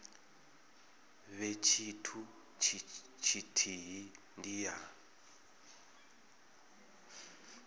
vhe tshithu tshithihi ndi ya